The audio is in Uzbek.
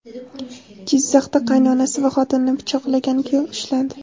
Jizzaxda qaynonasi va xotinini pichoqlagan kuyov ushlandi.